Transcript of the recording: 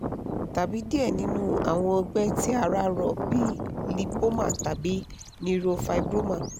tabi diẹ ninu awọn ọgbẹ ti ara rọ bi cs] lipoma tabi neurofibroma